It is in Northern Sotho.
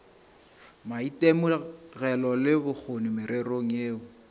maitemogelo le bokgoni mererong yeo